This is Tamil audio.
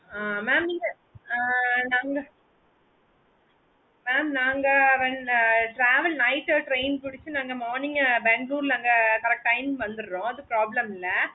ஹம் mam நீங்க ஹம் நாங்க mam நாங்க travel night train புடிச்சி நாங்க morning Bangalore ல அங்க correct time வந்துற்றோம் அது problem இல்ல எங்களுக்கு